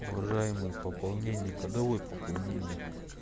уважаемые пополнение когда будет пополнение